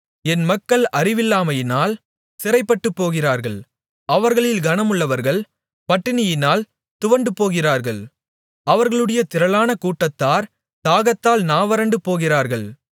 என் மக்கள் அறிவில்லாமையினால் சிறைப்பட்டுப்போகிறார்கள் அவர்களில் கனமுள்ளவர்கள் பட்டினியினால் துவண்டுபோகிறார்கள் அவர்களுடைய திரளான கூட்டத்தார் தாகத்தால் நாவறண்டு போகிறார்கள்